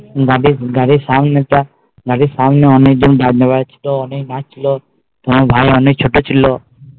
গাড়ির সামনে তো গাড়ির সামনে অনেক জন বাজনা বাজছিল অনেক নাচছিল তোমার ভাই অনেক ছোট ছিল